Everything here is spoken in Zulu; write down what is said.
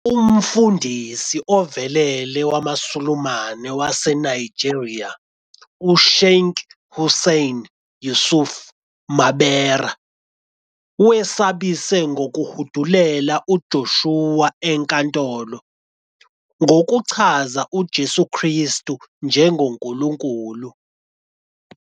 Umfundisi ovelele wamaSulumane waseNigeria, uSheikh Hussaini Yusuf Mabera, wesabise ngokuhudulela uJoshua enkantolo "ngokuchaza uJesu Kristu njengoNkulunkulu".